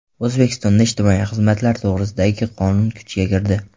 O‘zbekistonda ijtimoiy xizmatlar to‘g‘risidagi qonun kuchga kirdi.